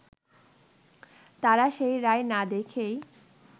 তারা সেই রায় না দেখেই